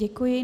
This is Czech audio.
Děkuji.